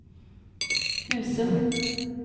Husum